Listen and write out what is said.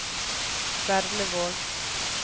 Berlevåg